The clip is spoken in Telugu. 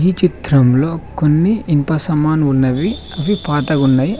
ఈ చిత్రంలో కొన్ని ఇనుప సామాన్ ఉన్నవి అవి పాతగున్నాయి.